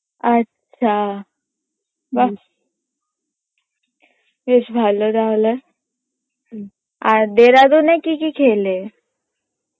আচ্ছা বাহ বেশ ভালো তাহলে আর দেরাদুনে কি কি খেলে?